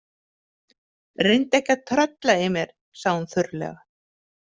Reyndu ekki að trölla í mér, sagði hún þurrlega.